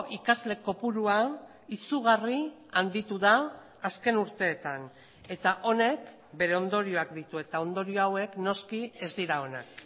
ikasle kopurua izugarri handitu da azken urteetan eta honek bere ondorioak ditu eta ondorio hauek noski ez dira onak